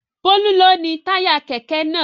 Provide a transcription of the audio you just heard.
Bólú ló ni táyà kẹ̀kẹ́ náà.